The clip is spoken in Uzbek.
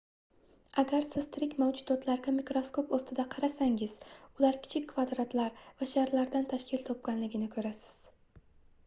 agar siz tirik mavjudotlarga mikroskop ostida qarasangiz ular kichik kvadratlar va sharlardan tashkil topganligini koʻrasiz